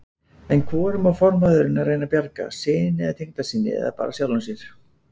En hvorum á formaðurinn að reyna að bjarga, syni eða tengdasyni, eða bara sjálfum sér?